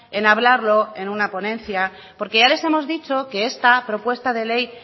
en hablarlo en una ponencia porque ya les hemos dicho que esta propuesta de ley